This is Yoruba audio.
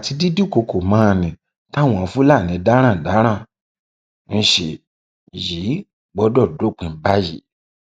àti dídúnkooko mọ ni táwọn fúlàní darandaran ń ṣe yìí gbọdọ dópin báyìí